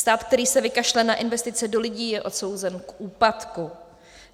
Stát, který se vykašle na investice do lidí, je odsouzen k úpadku.